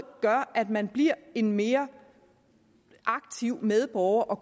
gør at man bliver en mere aktiv medborger